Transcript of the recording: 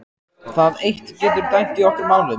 Það eitt getur dæmt í okkar málum.